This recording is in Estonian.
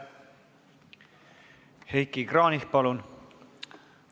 Heiki Kranich, palun!